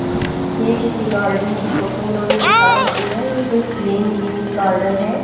ये किसी गार्डन की फोटो इन्होंने दिखा रखी है ये कोई प्लेन गेम्स गार्डन है।